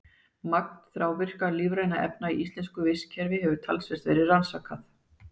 Magn þrávirkra lífrænna efna í íslensku vistkerfi hefur talsvert verið rannsakað.